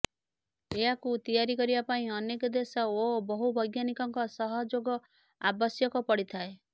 ଏହାକୁ ତିଆରି କରିବା ପାଇଁ ଅନେକ ଦେଶ ଏବଂ ବହୁ ବୈଜ୍ଞାନିକଙ୍କ ସହଯୋଗ ଆବଶ୍ୟକ ପଡ଼ିଥାଏ